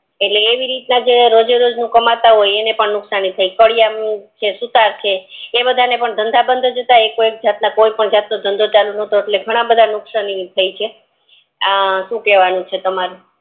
એટલે એવી રીત ના રોજે રોજ નું જે કાંટા હોય એમને કડીયાણું છે સૂતર નું છે ઈ બધા ને પણ ધંધા બંધ જ હતા એકો એક જાત ના એકપણ ધંધો ચાલુ નતો એટલે ઘણા બધા ને નુકસાન થયું છે આ સુ કેવાનું છે તમારે